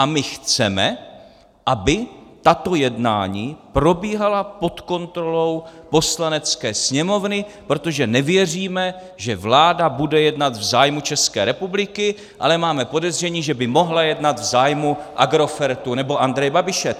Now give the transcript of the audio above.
A my chceme, aby tato jednání probíhala pod kontrolou Poslanecké sněmovny, protože nevěříme, že vláda bude jednat v zájmu České republiky, ale máme podezření, že by mohla jednat v zájmu Agrofertu nebo Andreje Babiše.